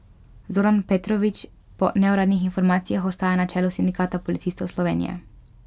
Zoran Petrovič po neuradnih informacijah ostaja na čelu Sindikata policistov Slovenije.